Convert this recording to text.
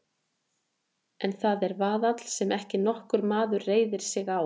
En það er vaðall sem ekki nokkur maður reiðir sig á.